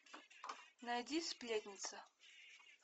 найди сплетница